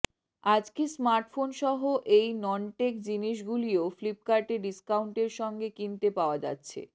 আজকে স্মার্টফোন সহ এই ননটেক জিনিস গুলিও ফ্লিপকার্টে ডিস্কাউন্টের সঙ্গে কিনতে পাওয়া যাচ্ছে